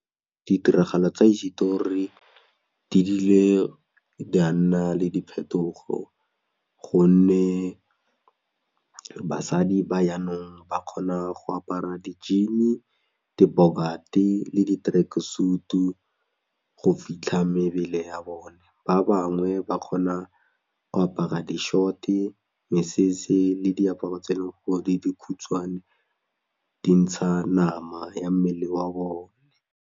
Ditiragalo tsa di bile di a nna le diphetogo gonne basadi ba yanong ba kgona go apara di-jean-e, dibokate le di-truck suit-u go fitlha mebele ya bone, ba bangwe ba kgona go apara di-short-e, mesese le diaparo tse leng gore di dikhutshwane dintsha nama ya mmele wa bone.